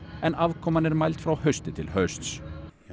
en afkoman er mæld frá hausti til hausts